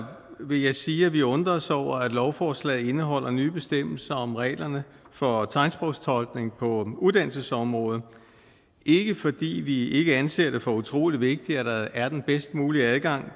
vil jeg sige at vi undrer os over at lovforslaget indeholder nye bestemmelser om reglerne for tegnsprogstolkning på uddannelsesområdet ikke fordi vi ikke anser det for utrolig vigtigt at der er den bedst mulige adgang